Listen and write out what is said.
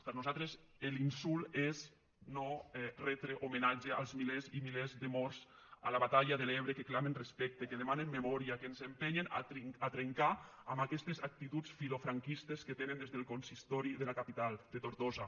per nosaltres l’insult és no retre homenatge als milers i milers de morts a la batalla de l’ebre que clamen respecte que demanen memòria que ens empenyen a trencar amb aquestes actituds filofranquistes que tenen des del consistori de la capital de tortosa